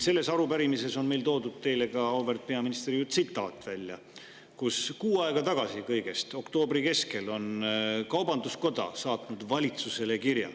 Selles arupärimises on meil toodud välja teile, auväärt peaminister, tsitaat kirjast, mille kõigest kuu aega tagasi, oktoobri keskel on kaubanduskoda saatnud valitsusele.